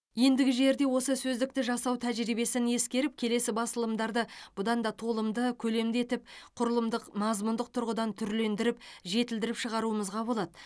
ендігі жерде осы сөздікті жасау тәжірибесін ескеріп келесі басылымдарды бұдан да толымды көлемді етіп құрылымдық мазмұндық тұрғыдан түрлендіріп жетілдіріп шығаруымызға болады